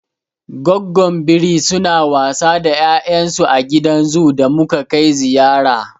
Goggon biri suna wasa da ya'yan su a gidan zoo da muka kai ziyara.